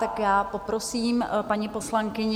Tak já poprosím paní poslankyni.